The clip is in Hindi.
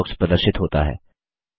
सर्च बॉक्स प्रदर्शित होता है